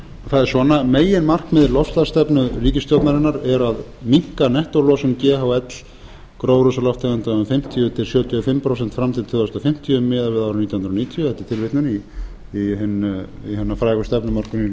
það er svona meginmarkmið loftslagsstefnu ríkisstjórnarinnar er að minnka nettólosun ghl gróðurhúsalofttegunda um fimmtíu til sjötíu og fimm prósent fram til ársins tvö þúsund fimmtíu miðað við árið nítján hundruð níutíu þetta er tilvitnun í hina frægu stefnumörkun í